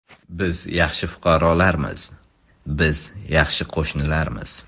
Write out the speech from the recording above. Biz yaxshi fuqarolarmiz, biz yaxshi qo‘shnilarmiz.